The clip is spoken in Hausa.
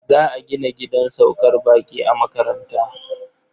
Za a gina gidan saukar baƙi a makaranta.